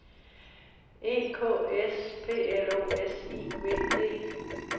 E K S P L O S I V T